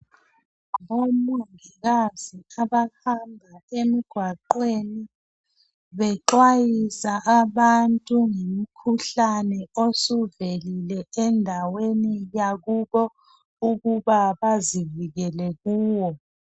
Omongikazi abahamba emgwaqweni. Bexwayisa abantu ngomkhuhlane, osuvelile endaweni yakibo, ukuba bavikele kuwo.